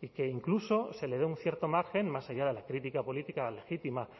y que incluso se le dé un cierto margen más allá de la crítica política legítima